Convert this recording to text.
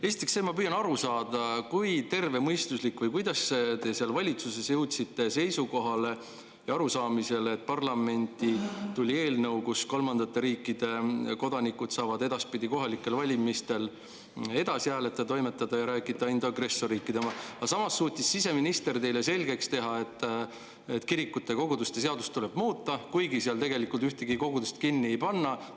Esiteks, ma püüan aru saada, kui tervemõistuslik või kuidas te seal valitsuses jõudsite seisukohale ja arusaamisele, et parlamenti tuleb eelnõu, mille kohaselt kolmandate riikide kodanikud saavad edaspidi kohalikel valimistel edasi hääletada, toimetada ja rääkida, ainult agressorriikide, aga samas suutis siseminister teile selgeks teha, et kirikute ja koguduste seadust tuleb muuta, kuigi tegelikult ühtegi kogudust kinni ei panda.